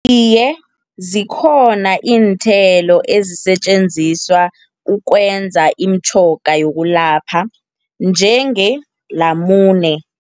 Iye, zikhona iinthelo ezisetjenziswa ukwenza iimtjhoga yokulapha njengelamune.